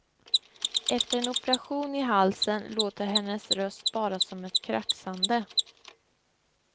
Efter en operation i halsen låter hennes röst bara som ett kraxande.